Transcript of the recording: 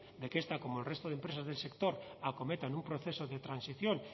de que esta y como el resto de empresas del sector acometan un proceso de transición